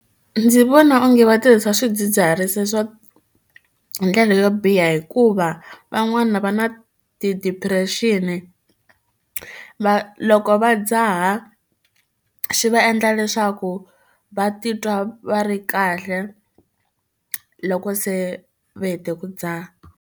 Ndzi vona onge va tirhisa swidzidziharisi swo ndlela yo biha hikuva van'wana va na ti-depression va loko va dzaha xi va endla leswaku va titwa va ri kahle loko se va hete ku dzaha.